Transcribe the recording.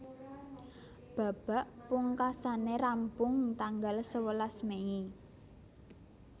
Babak pungkasané rampung tanggal sewelas Mei